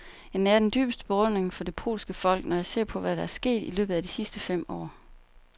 Jeg nærer den dybeste beundring for det polske folk, når jeg ser på, hvad der er sket i løbet af de sidste fem år.